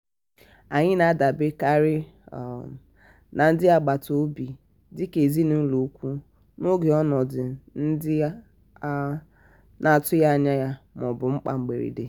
anyị na-adaberekarị um na ndị agbata obi dị ka ezinụlọ ụ̀kwụ̀ n'oge ọnọdụ ndị a um na-atụghị anya ya ma ọ bụ mkpa mberede.